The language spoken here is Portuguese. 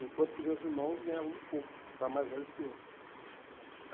Enquanto que os meus irmãos ganhavam muito pouco, já mais velhos que eu.